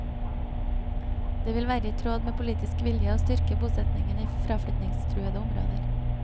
Det vil være i tråd med politisk vilje å styrke bosetningen i fraflytningstruede områder.